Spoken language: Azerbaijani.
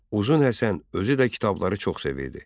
Uzun Həsən özü də kitabları çox sevirdi.